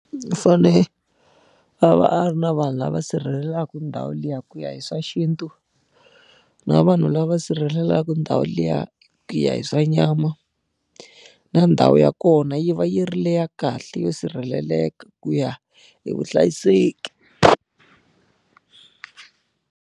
U fanele a va a ri na vanhu lava sirhelelaka ndhawu liya ku ya hi swa xintu, na vanhu lava sirhelelaka ndhawu liya ku ya hi swa nyama. Na ndhawu ya kona yi va yi ri le ya kahle yo sirheleleka ku ya hi vuhlayiseki.